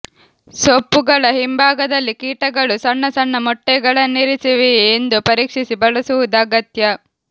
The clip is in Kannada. ಸೊಪ್ಪುಗಳ ಹಿಂಭಾಗದಲ್ಲಿ ಕೀಟಗಳು ಸಣ್ಣ ಸಣ್ಣ ಮೊಟ್ಟೆಗಳನ್ನಿರಿಸಿವೆಯೇ ಎಂದು ಪರೀಕ್ಷಿಸಿ ಬಳಸುವುದು ಅಗತ್ಯ